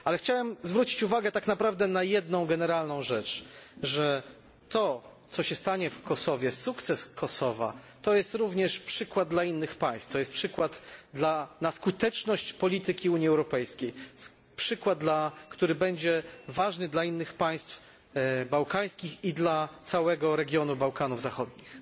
Chciałbym jednak zwrócić uwagę tak naprawdę na jedną generalną rzecz, że to, co się stanie w Kosowie, sukces Kosowa to jest również przykład dla innych państw, to jest przykład na skuteczność polityki Unii Europejskiej, przykład, który będzie ważny dla innych państw bałkańskich i dla całego regionu Bałkanów Zachodnich.